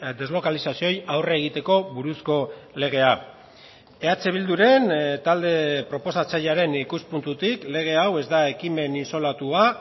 deslokalizazioei aurre egiteko buruzko legea eh bilduren talde proposatzailearen ikuspuntutik lege hau ez da ekimen isolatua